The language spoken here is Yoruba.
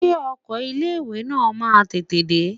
Ṣé ọkọ ilé ìwé náà máa tètè dé?